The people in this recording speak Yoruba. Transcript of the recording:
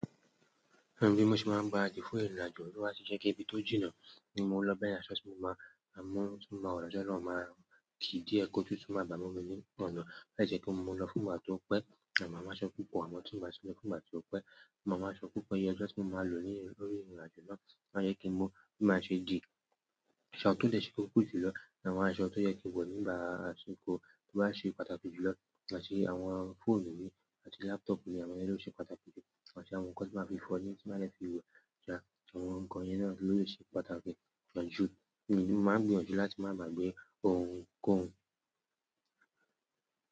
Bí mo ṣe máa ń gbaràdì fún ìrìnàjò to ba ti je pe ibi tó jìnnà ní mo ń lọ bẹ́yẹ̀n aṣọ tí mo máa ń wo lọ́jọ́ náà máa ki díẹ̀ kó tutu maa bá mú mi ní ọ̀nà. To ba si je pe mo lọ fún ìgbà tí ó pẹ́, màa mu aṣọ púpọ̀ àmọ tí n bà ti lọ fún ìgbà tí ó pẹ́, maa mu aṣọ púpọ̀ iye ọjo tí mo máa lò ní orí ìrìn àjò náà ó máa jẹ kí n mo bí màá ṣe dì. Ṣò awón tọ́ dẹ́ ṣe kókò ju lọ ní àwọn aṣọ tó yẹ kí n wọ̀ nígbà àsìkò to màá ṣe pàtàkì jù lọ, àti àwọn fóònù mi àti laptop mi àwọn yen lo ṣe pàtàkì jù, àti àwọn nǹkan tí màá fi foyin tí màá dè fi wẹ̀ yeah àwọn nǹkan yẹn ló le se pàtàkì jù. Èmi máa ń gbìyànjú láti má gbàgbé ohun kohun.